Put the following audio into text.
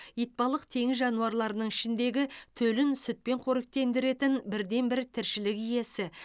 итбалық теңіз жануарларының ішіндегі төлін сүтпен қоректендіретін бірден бір тіршілік иесі